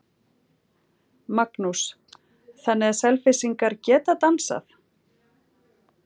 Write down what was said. Magnús: Þannig að Selfyssingar geta dansað?